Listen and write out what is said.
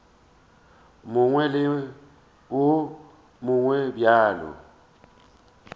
mongwe le wo mongwe bjalo